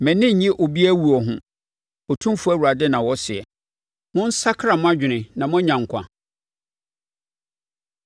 Mʼani nnye obiara owuo ho, Otumfoɔ Awurade na ɔseɛ. ‘Monsakra mo adwene na moanya nkwa!’